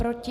Proti?